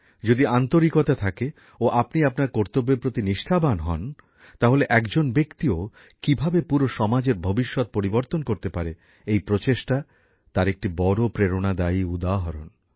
যদি আন্তরিকতা থাকে ও আপনি আপনার কর্তব্যের প্রতি নিষ্ঠাবান হন তাহলে একজন ব্যক্তিও কীভাবে পুরো সমাজের ভবিষ্যত পরিবর্তন করতে পারে এই প্রচেষ্টা তার একটি বড় প্রেরণাদায়ক উদাহরণ